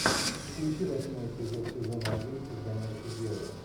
включи восьмой эпизод сезона один изгоняющий дьявола